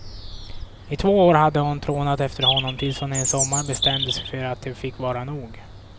I två år hade hon trånat efter honom tills hon en sommar bestämde sig för att det fick vara nog.